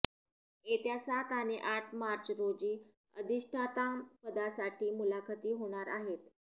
येत्या सात आणि आठ मार्च रोजी अधिष्ठाता पदासाठी मुलाखती होणार आहेत